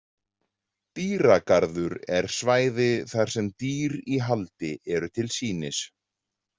Dýragarður er svæði þar sem dýr í haldi eru til sýnis.